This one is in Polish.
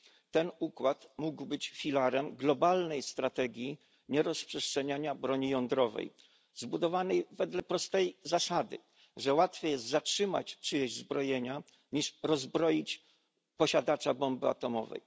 Ten układ mógł być filarem globalnej strategii nierozprzestrzeniania broni jądrowej zbudowanej wedle prostej zasady, że łatwiej jest zatrzymać czyjeś zbrojenia, niż rozbroić posiadacza bomby atomowej.